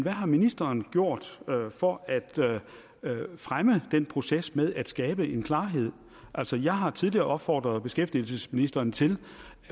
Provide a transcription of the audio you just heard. har ministeren gjort for at fremme den proces med at skabe en klarhed altså jeg har tidligere opfordret beskæftigelsesministeren til